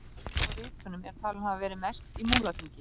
Salan á ritunum er talin hafa verið mest í Múlaþingi.